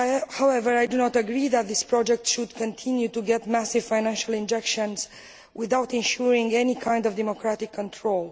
However, I do not agree that this project should continue to get massive financial injections without ensuring any kind of democratic control.